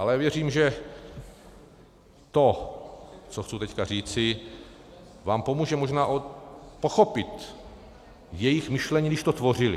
Ale věřím, že to, co chci teď říci, vám pomůže možná pochopit jejich myšlení, když to tvořili.